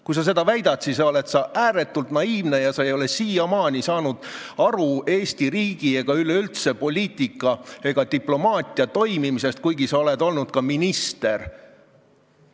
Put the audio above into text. Kui sa seda väidad, siis sa oled ääretult naiivne ega ole siiamaani saanud aru Eesti riigi ega üleüldse poliitika ega diplomaatia toimimisest, kuigi sa oled olnud ka minister.